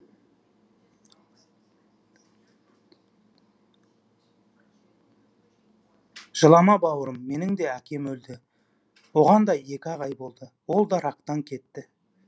жылама бауырым менің де әкем өлді оған да екі ақ ай болды ол да рактан кетті